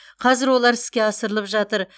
қазір олар іске асырылып жатыр